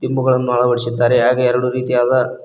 ದಿಂಬುಗಳನ್ನು ಅಳವಡಿಸಿದ್ದಾರೆ ಹಾಗೆ ಎರಡು ರೀತಿಯಾದ--